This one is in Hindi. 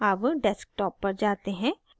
अब desktop पर जाते हैं